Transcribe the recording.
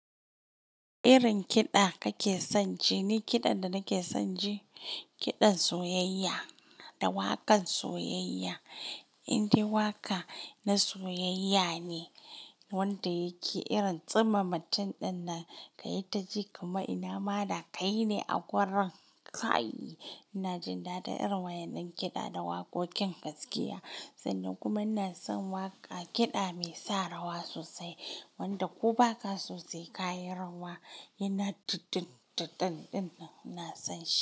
Irin kiɗa kake son ji? Ni kiɗan da nake son ji, kiɗan soyayya da waƙan soyayya. Indai waƙa na soyayya ne wanda yake irin tsima matin ɗinnan ka yi ta ji, kuma ina ma da ƙai ne a gurin kai. Ina jin daɗin irin wayen ɗin kiɗa da waƙoƙin gaskiya sannan kuma ina son waƙa kiɗa mai sa rawa sosai wanda ko ba ka sosai ka yi rawa yana dundun ɗandun nan ina son shi.